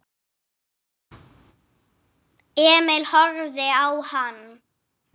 Emil horfði á hann.